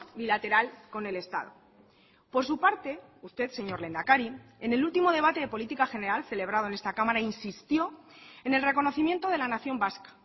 bilateral con el estado por su parte usted señor lehendakari en el último debate de política general celebrado en esta cámara insistió en el reconocimiento de la nación vasca